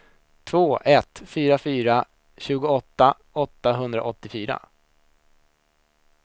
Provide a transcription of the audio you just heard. två ett fyra fyra tjugoåtta åttahundraåttiofyra